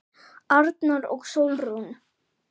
Arnar og Sólrún.